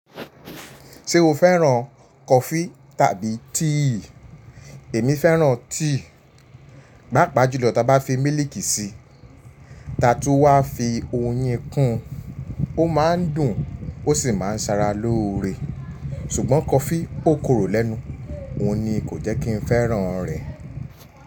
Ṣé o fẹ́ràn kọfí tàbí tíì? Èmi fẹ́ràn tíì, gbàpá jùlọ tí a bá fi mílìkì si, ta tún wá fi oyin kun, o máa ń dùn ó sì máa ń sara lóore. Ṣùgbọ́n kọfí o korò lẹ́nu, òun ni kò jẹ́ kí n fẹ́ràn rẹ.